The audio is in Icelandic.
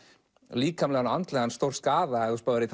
líkamlegan og andlegan stórskaða ef þú spáir í